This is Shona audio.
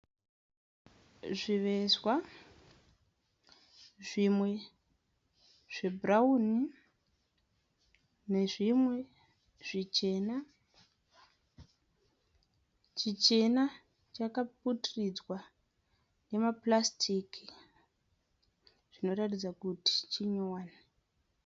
Zvivezwa , zvimwe zve bhurauni ne zvimwe zvichena. Chichena chakaputiridzwa nemapurasitiki zvinoratidza kuti chitsva.